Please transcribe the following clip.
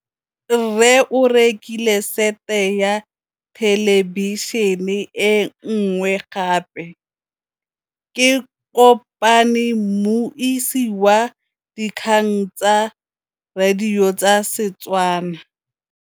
Rre o rekile sete ya thêlêbišênê e nngwe gape. Ke kopane mmuisi w dikgang tsa radio tsa Setswana.